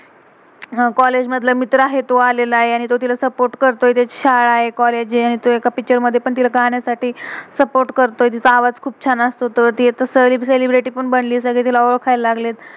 College college मधला मित्र आहे तो आलेला आहे. आणि तो तिला सपोर्ट support करतोय. तेची शाळा आहे, कॉलेज हे, आणि तोह एका तिला पिक्चर picture मधे का अन्यासठी सपोर्ट support करतोय. तिचा आवाज़ खुप छान असतो. तर ते अता सेलेब्रिटी celebrity पण बनली. सगले तिला ओल्खायला लागलेत.